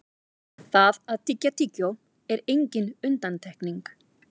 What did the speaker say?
það að tyggja tyggjó er engin undantekning